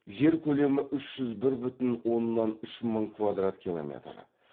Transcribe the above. жер көлемі үш жүз бір бүтін оннан үш мың квадрат километр